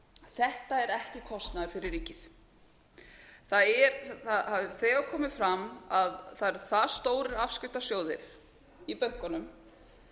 þetta er ekki kostnaður fyrir ríkið það hefur þegar komið fram að það eru það stórir afskriftasjóðir í bönkunum